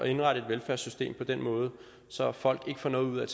indrette et velfærdssystem på den måde så folk ikke får noget ud af at